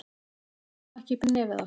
Að ná ekki upp í nefið á sér